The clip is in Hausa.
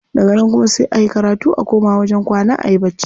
Daga nan kuma sai a yi karatu a koma wajen kwana ayi bacci.